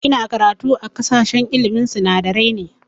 Ina karatu a sashen ilmin sinadarai ne